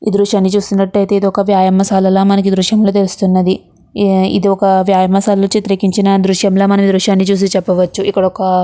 ఈ దృశ్యాన్ని చూస్తున్నటైతే ఇది ఒక వ్యాయామశాల ల మనకు ఈ దృశ్యం లో తెలుస్తున్నది. ఇది ఒక వ్యాయామశాల లో చిత్రీకరించిన దృశ్యం లా మనం ఈ దృశ్యాన్ని చూసి చెప్పవచ్చు. ఇక్కడ ఒక--